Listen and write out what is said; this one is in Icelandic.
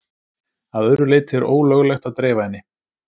Að öðru leyti er ólöglegt að dreifa henni.